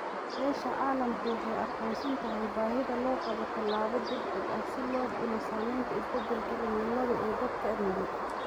Beesha caalamku waxay aqoonsan tahay baahida loo qabo tallaabo degdeg ah si loo dhimo saamaynta isbeddelka cimilada ee dadka nugul.